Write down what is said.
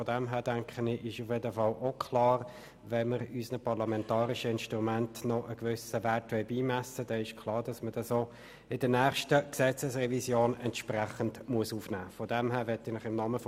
Es ist insofern klar, dass man diese Anpassung entsprechend in die nächste Gesetzesrevision aufnehmen muss, wenn wir unseren parlamentarischen Instrumenten einen gewissen Wert beimessen wollen.